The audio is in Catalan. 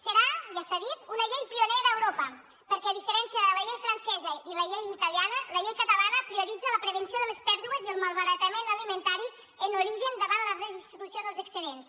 serà ja s’ha dit una llei pionera a europa perquè a diferència de la llei francesa i la llei italiana la llei catalana prioritza la prevenció de les pèrdues i el malbaratament alimentari en origen davant la redistribució dels excedents